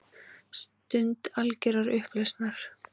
Stund algjörrar upplausnar.